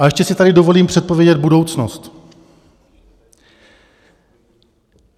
A ještě si tady dovolím předpovědět budoucnost.